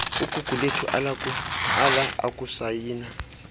ugugulethu ala ukusayina